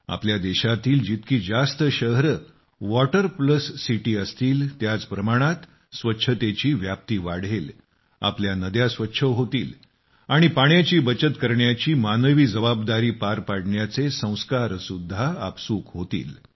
आपल्या देशातील जितकी जास्त शहरे वॉटर प्लस सिटी असतील त्याच प्रमाणात स्वच्छतेची व्याप्ती वाढेल आपल्या नद्या स्वच्छ होतील आणि पाण्याची बचत करण्याची आपली जबाबदारी पार पाडण्याचे संस्कारसुद्धा आपसूक होतील